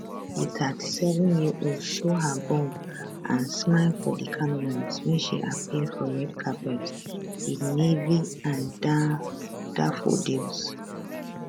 di 37yearold show her bump and smile for di cameras wen she appear for red carpet wit navy and daffodils